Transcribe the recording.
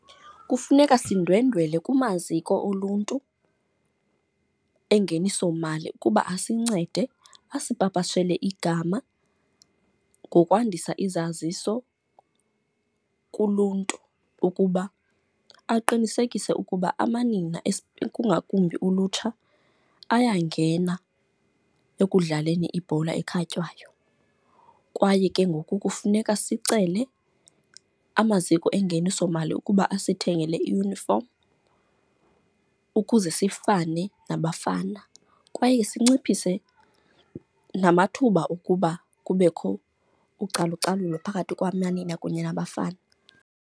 Kufuneka sindwendwele kumaziko oluntu engenisomali ukuba asincede asipapashele igama ngokwandisa izaziso kuluntu ukuba aqinisekise ukuba amanina, kungakumbi ulutsha ayangena ekudlaleni ibhola ekhatywayo. Kwaye ke ngoku kufuneka sicele amaziko engenisomali ukuba asithengele iyunifomu ukuze sifane nabafana kwaye sinciphise namathuba okuba kubekho ucalucalulo phakathi kwamanina kunye nabafana.